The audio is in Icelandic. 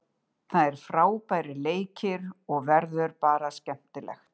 Það eru frábærir leikir og verður bara skemmtilegt.